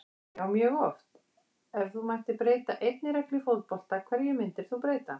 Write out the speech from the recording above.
Já mjög oft Ef þú mættir breyta einni reglu í fótbolta, hverju myndir þú breyta?